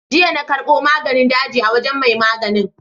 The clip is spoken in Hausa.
Jiya na karɓo maganin daji a wajen mai maganin.